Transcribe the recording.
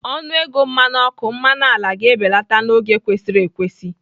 Ọnụ ego mmanụ ọkụ, mmanụ ala ga-ebelata n'oge kwesịrị ekwesị